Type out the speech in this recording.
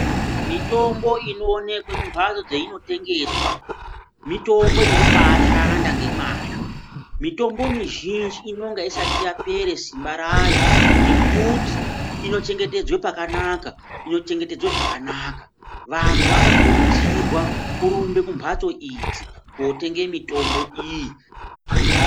Mitombo inoonekwe mumbasto dzainotengeswa mitombo inobaa shanda ngemwazvo. Mitombo mizhinji inonga isati yapere simba rayo ngekuti inochengetedzwa pakanaka, inochengetedzwa zvakanaka. Vantu vanokurudzirwa kurumbe kumbatso idzi kotenge mitombo iyi.